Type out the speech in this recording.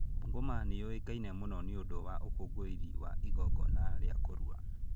Bungoma nĩ yũĩkaine mũno nĩ ũndũ wa ũkũngũĩri wa igongona rĩa kũrua.